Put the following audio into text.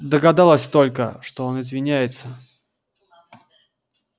догадалась только что он извиняется